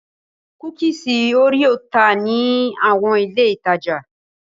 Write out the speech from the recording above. Kúkísì òréò tà ní àwọn ilé-ìtajà.